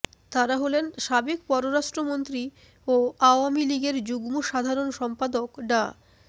তারা হলেন সাবেক পররাষ্ট্রমন্ত্রী ও আওয়ামী লীগের যুগ্ম সাধারণ সম্পাদক ডা